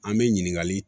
An bɛ ɲininkali